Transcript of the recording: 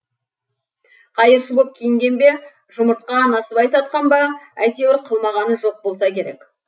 қайыршы боп киінген бе жұмыртқа насыбай сатқан ба әйтеуір қылмағаны жоқ болса керек